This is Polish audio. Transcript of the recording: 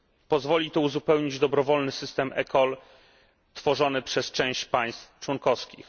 Pozwoli to uzupełnić dobrowolny system eCall tworzony przez część państw członkowskich.